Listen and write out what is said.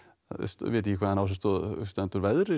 vita ekki hvaðan á sig stendur veðrið